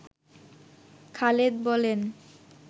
খালেদ বলেন